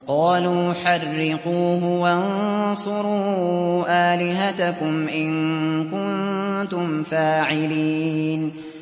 قَالُوا حَرِّقُوهُ وَانصُرُوا آلِهَتَكُمْ إِن كُنتُمْ فَاعِلِينَ